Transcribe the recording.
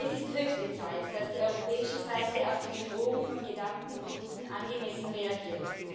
Es ist höchste Zeit, dass die europäische Seite auf die Bedrohung von gedumpten Produkten angemessen reagiert.